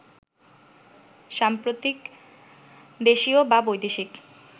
সাম্প্রতিক দেশীয় বা বৈদেশিক